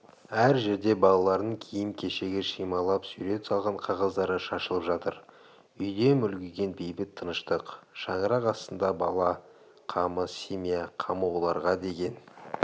әр жерде балаларының киім-кешегі шимайлап сурет салған қағаздары шашылып жатыр үйде мүлгіген бейбіт тыныштық шаңырақ астында бала қамы семья қамы оларға деген